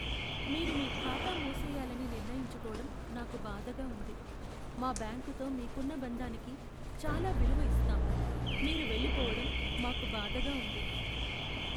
మీరు మీ ఖాతా మూసెయ్యాలని నిర్ణయించుకోవటం నాకు బాధగా ఉంది. మా బ్యాంకుతో మీకున్న బంధానికి చాలా విలువ ఇస్తాం, మీరు వెళ్లిపోవడం మాకు బాధగా ఉంది.